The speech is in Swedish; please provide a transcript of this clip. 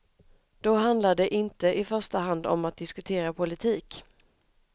Då handlar det inte i första hand om att diskutera politik.